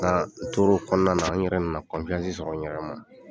Nka n tor'o kɔnɔna na, n yɛrɛ nana sɔrɔ n yɛrɛ ma.